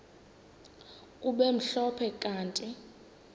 kube mhlophe kanti